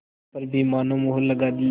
पर भी मानो मुहर लगा दी